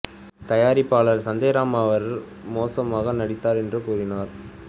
தயாரிப்பாளர் சஞ்சய் ராம் அவர் மோசமாக நடித்தார் என்று கூறினார்